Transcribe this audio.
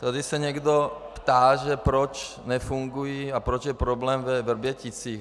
Tady se někdo ptá, že proč nefungují, a proč je problém ve Vrběticích.